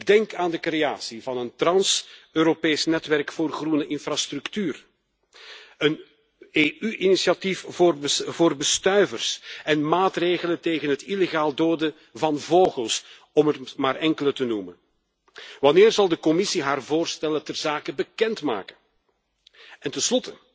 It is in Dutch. Ik denk aan de creatie van een trans Europees netwerk voor groene infrastructuur, een EU initiatief voor bestuivers en maatregelen tegen het illegaal doden van vogels, om er maar enkele te noemen. Wanneer zal de Commissie haar voorstellen ter zake bekend maken?